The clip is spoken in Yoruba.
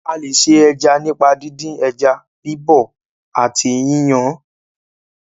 A lè se ẹja nípa díndín ẹja, bíbọ̀ ọ́ àti yínyan án.